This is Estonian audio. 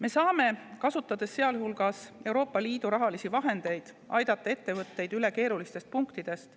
Me saame, kasutades selleks ka Euroopa Liidu rahalisi vahendeid, aidata ettevõtteid üle keerulistest punktidest.